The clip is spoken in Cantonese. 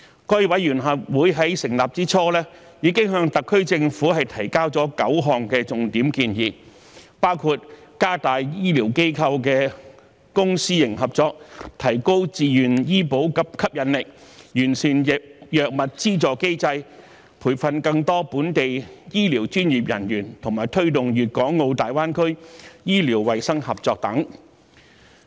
該委員會在成立之初已經向特區政府提交9項重點建議，包括加強醫療機構的公私營合作、提高自願醫保計劃的吸引力、完善藥物費用資助機制、培訓更多本地醫療專業人員，以及推動粵港澳大灣區醫療衞生合作等。